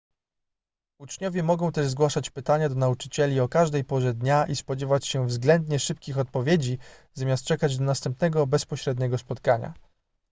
uczniowie mogą też zgłaszać pytania do nauczycieli o każdej porze dnia i spodziewać się względnie szybkich odpowiedzi zamiast czekać do następnego bezpośredniego spotkania